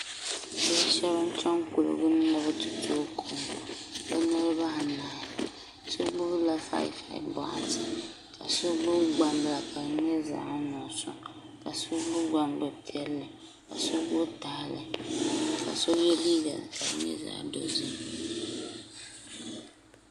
Bia shab n chɛni kuligi ni ni bi ti tooi kom bi niraba anahi shab gbubila 55 boɣati ka so gbubi gbambila ka di nyɛ zaɣ nuɣso ka so gbubi gbambili piɛlli ka so gbubi tahali ka so yɛ liiga ka di nyɛ zaɣ dozim